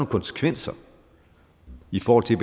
konsekvenser i forhold til